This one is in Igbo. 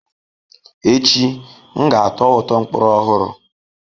Echi, m ga-atọ ụtọ mkpụrụ ọhụrụ.